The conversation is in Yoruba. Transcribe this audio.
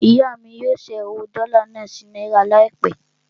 Ìyá mí yóò ṣẹ́ owó dọ́là náà sí náírà láìpẹ́.